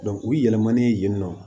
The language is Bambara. u yɛlɛmana yen nɔ